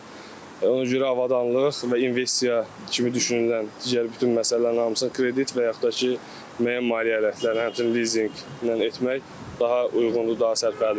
Ona görə avadanlıq və investisiya kimi düşünülən digər bütün məsələlərin hamısını kredit və yaxud da ki, müəyyən maliyyə alətləri, həmçinin lizinqlə etmək daha uyğundur, daha sərfəlidir bizim üçün.